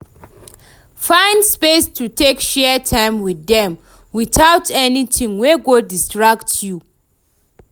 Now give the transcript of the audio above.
find space to take share time wit dem witout anytin wey go distract yu